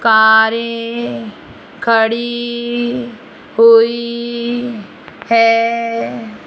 कारे खड़ी हुई है।